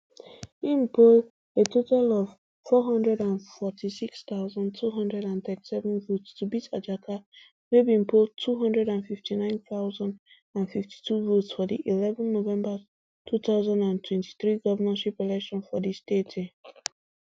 im poll a total of four hundred and forty-six thousand, two hundred and thirty-seven votes to beat ajaka wey bin poll two hundred and fifty-nine thousand and fifty-two votes for di eleven november two thousand and twenty-three govnorship election for di state um